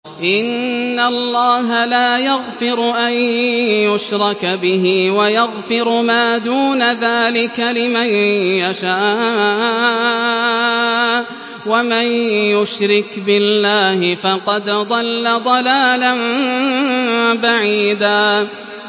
إِنَّ اللَّهَ لَا يَغْفِرُ أَن يُشْرَكَ بِهِ وَيَغْفِرُ مَا دُونَ ذَٰلِكَ لِمَن يَشَاءُ ۚ وَمَن يُشْرِكْ بِاللَّهِ فَقَدْ ضَلَّ ضَلَالًا بَعِيدًا